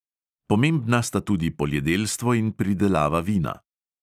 Pomembna sta tudi poljedelstvo in pridelava vina.